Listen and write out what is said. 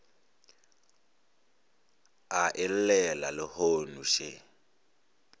a e llela lehono še